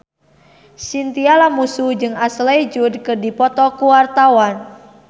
Chintya Lamusu jeung Ashley Judd keur dipoto ku wartawan